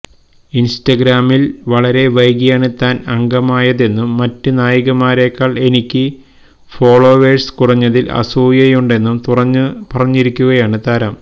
ഇന്സ്റ്റഗ്രാമില് വളരെ വൈകീയാണ് താന് അംഗമായതെന്നും മറ്റ് നായികമാരെക്കാള് എനിക്ക് ഫോളോവേഴ്സ് കുറഞ്ഞതില് അസൂയയുണ്ടെന്നും തുറന്നു പറഞ്ഞിരിക്കുകയാണ് താരം